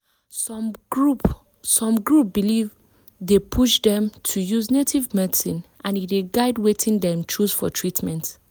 some group some group belief dey push dem to use native medicine and e dey guide wetin dem choose for treatment.